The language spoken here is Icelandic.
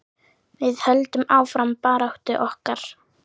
Við höldum áfram baráttu okkar.